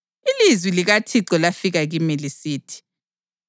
Ilizwi likaThixo lafika kimi lisithi: